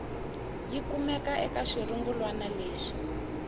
yi kumeke eka xirungulwana lexi